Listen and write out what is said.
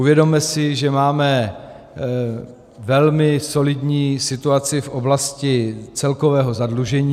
Uvědomme si, že máme velmi solidní situaci v oblasti celkového zadlužení.